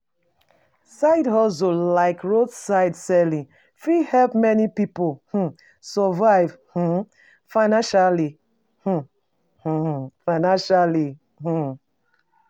For dis economy, pesin suppose adapt skills wey go help um am um get new get new income.